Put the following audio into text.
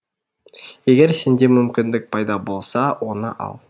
егер сенде мүмкіндік пайда болса оны ал